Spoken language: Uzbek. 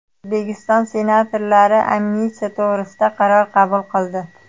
O‘zbekiston senatorlari amnistiya to‘g‘risida qaror qabul qildi .